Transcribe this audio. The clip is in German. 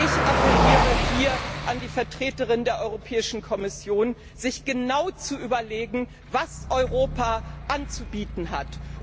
Ich appelliere an die Vertreterin der Europäischen Kommission, sich genau zu überlegen, was Europa anzubieten hat.